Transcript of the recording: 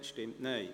Ja / Oui Nein /